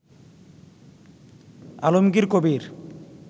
Alamgir Kabir